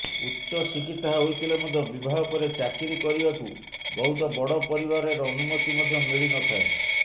ଉଚ୍ଚଶିକ୍ଷିତା ହୋଇଥିଲେ ମଧ୍ୟ ବିବାହ ପରେ ଚାକିରି କରିବାକୁ ବହୁତ ବଡ଼ ପରିବାରରେ ଅନୁମତି ମଧ୍ୟ ମିଳିନଥାଏ